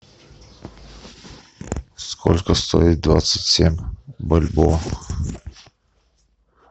сколько стоит двадцать семь бальбоа